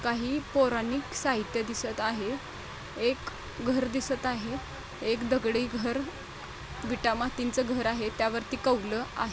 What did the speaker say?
काही पौराणिक साहित्य दिसत आहे एक घर दिसत आहे एक दगड़ी घर वीटा मातीच घर आहे त्यावरती कौल आहे.